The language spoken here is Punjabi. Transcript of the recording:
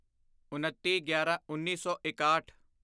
ਉਨੱਤੀਗਿਆਰਾਂਉੱਨੀ ਸੌ ਇਕਾਹਠ